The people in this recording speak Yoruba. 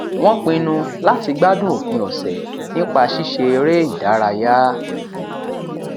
wọn pinnu láti gbádùn òpin ọsẹ nípa ṣíṣe eré ìdárayá